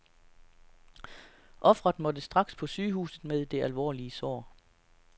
Ofret måtte straks på sygehuset med det alvorlige sår.